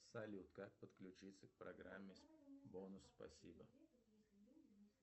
салют как подключиться к программе бонус спасибо